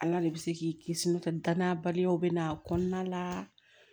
Ala de bɛ se k'i kisi n'o tɛ danna baliyaw bɛ na a kɔnɔna la